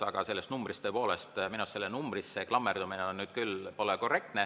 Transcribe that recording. Aga sellesse numbrisse klammerdumine nüüd küll pole korrektne.